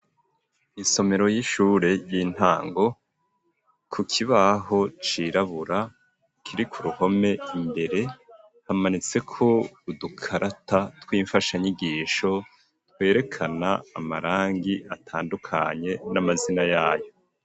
isomero y'ishure ry'intango, ku kibaho cirabura, kiri ku ruhome imbere, hamanitseko udukarata tw'imfashanyigisho twerekana amarangi atandukanye n'amazina yayo.